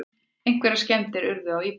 Einhverjar skemmdir urðu á íbúðinni